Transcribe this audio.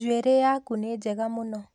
njuĩrĩ yaku nĩ mwega mũno